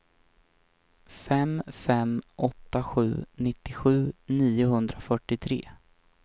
fem fem åtta sju nittiosju niohundrafyrtiotre